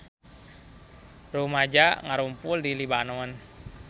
Rumaja ngarumpul di Libanon